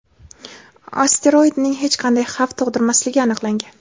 asteroidning hech qanday xavf tug‘dirmasligi aniqlangan.